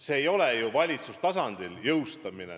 See ei ole ju valitsustasandil jõustamine.